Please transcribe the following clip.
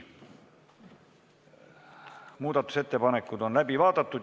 Muudatusettepanekud on läbi vaadatud.